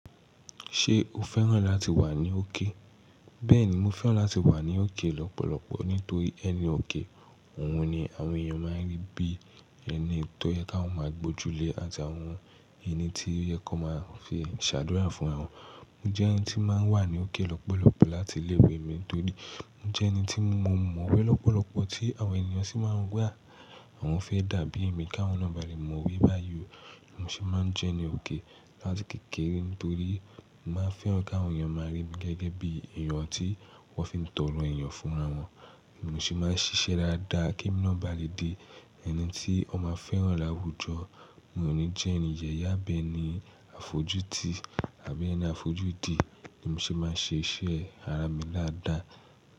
Ṣé o fẹ́ràn láti wà ní òkè? Bẹ́ẹ̀ni, mo fẹ́ràn láti wà ní òkè lọ́pọ̀lọpọ̀ nítorí ẹni òkè òun ni àwọn èèyàn máa ń rí bí ẹni tó yẹ káwon máa gbójúlé àti àwọn ẹni tí o yẹ kan máa fi ṣàdúrà fún rawọn. Mo jẹ́ ẹni tí máa ń wà ní òkè lọ́pọ̀lọpọ̀ láti iléwe mi nítorí mo jẹ́ ẹni tí mo mọ̀ọ́wé lọ́pọ̀lọpọ̀ tí àwọn èniyàn sì máa ń wà àwọn fẹ́ dàbí mi ká wọn na ba lẹ mọ̀ọ́wé bá yi ọ. Èmi sì máa ń jẹ́ ẹni òkè láti kékeré nítorí mo máa ń fẹ́ràn ká àwọn èèyàn máa rí mi gẹ́gẹ́ bí èèyàn tí wọ́n fi ń tọrọ èèyàn fúnra wọn. Èmi sì máa ń ṣiṣẹ́ dáadáa kí emi na ba lè di ẹni tí ọ máa fẹ́ràn láwùjọ. Mò ní jẹ́ ẹni yẹ̀yẹ á bẹ́ ẹni àfojútì àbí ẹni àfojúdi, èmi sì máa ń ṣe iṣẹ́ ara mi dáadáa.